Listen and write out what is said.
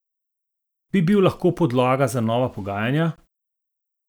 Bi bil lahko podlaga za nova pogajanja?